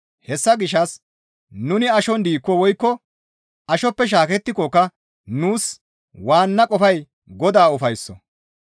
Hessa gishshas nuni ashon diikko woykko ashoppe shaakettikokka nuus waanna qofay Godaa ufaysso.